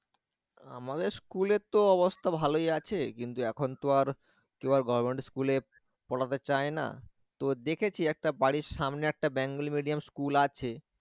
আমাদের school এর তো অবস্থা ভালই আছে কিন্তু এখন তো আর কেউ আর government school এ পড়াতে চায় না তো দেখেছি একটা বাড়ির সামনে একটা bengali medium school আছে